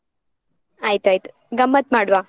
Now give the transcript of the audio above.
ಆಯ್ತಾಯ್ತು, ಗಮ್ಮತ್ ಮಾಡ್ವಾ.